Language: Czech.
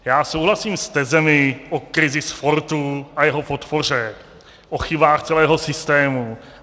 Já souhlasím s tezemi o krizi sportu a jeho podpoře, o chybách celého systému.